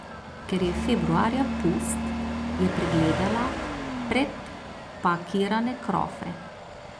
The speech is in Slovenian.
Ker je februarja pust, je pregledala predpakirane krofe.